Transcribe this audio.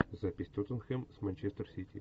запись тоттенхэм с манчестер сити